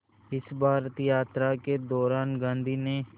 इस भारत यात्रा के दौरान गांधी ने